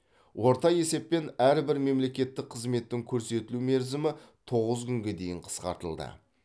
орта есеппен әрбір мемлекеттік қызметтің көрсетілу мерзімі тоғыз күнге дейін қысқартылды